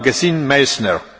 Herr Präsident!